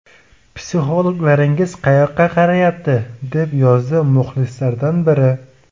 Psixologlaringiz qayoqqa qarayapti?” deb yozdi muxlislardan biri.